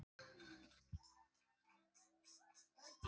Mun þetta þýða meira leikjaálag?